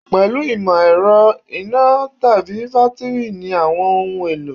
Pẹ̀lú ìmọ̀ ẹ̀rọ, iná tàbí bátíìrì ni àwọn ohun- èlò.